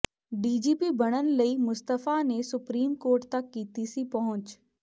DGP ਬਣਨ ਲਈ ਮੁਸਤਫਾ ਨੇ ਸੁਪਰੀਮ ਕੋਰਟ ਤੱਕ ਕੀਤੀ ਸੀ ਪਹੁੰਚ